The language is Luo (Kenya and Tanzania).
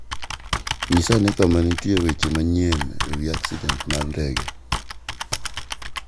Nyisa ane ka nitie weche manyien e wi aksident mar ndege